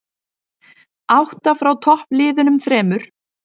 Átta frá toppliðunum þremur